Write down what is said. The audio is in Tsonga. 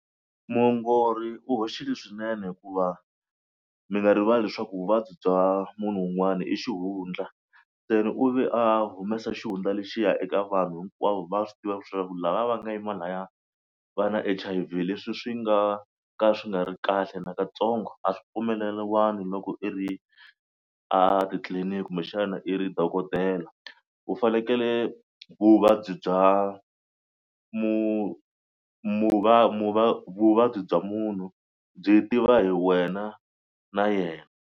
Muongori u hoxile swinene hikuva mi nga rivali leswaku vuvabyi bya munhu un'wana i xihundla. Se ni u ve a humesa xihundla lexiya eka vanhu hinkwavo va swi tiva leswaku lava va nga yima laya va na H_I_V leswi swi nga ka swi nga ri kahle nakatsongo a swi pfumeleliwangi loko i ri a titliliniki kumbexana i ri dokodela. U fanekele vuvabyi bya vuvabyi bya munhu byi tiviwa hi wena na yena.